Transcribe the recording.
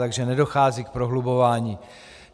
Takže nedochází k prohlubování.